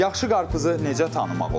Yaxşı qarpızı necə tanımaq olar?